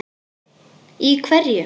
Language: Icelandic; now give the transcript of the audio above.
Í hverju?